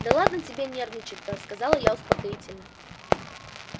да ладно тебе нервничать то сказала я успокоительно